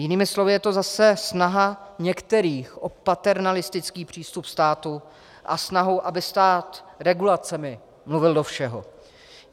Jinými slovy je to zase snaha některých o paternalistický přístup státu a snaha, aby stát regulacemi mluvil do všeho.